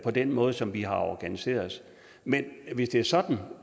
på den måde som vi har organiseret os men hvis det er sådan